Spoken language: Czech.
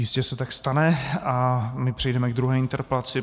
Jistě se tak stane a my přejdeme k druhé interpelaci.